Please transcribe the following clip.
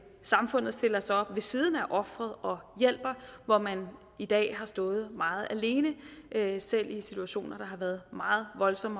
samfundet stiller sig op ved siden af ofret og hjælper hvor man i dag har stået meget alene selv i situationer der har været meget voldsomme